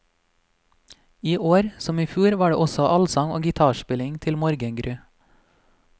Iår, som ifjor, var det også allsang og gitarspilling til morgengry.